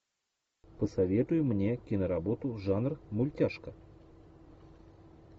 посоветуй мне киноработу жанр мультяшка